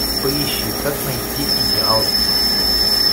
поищи как найти идеал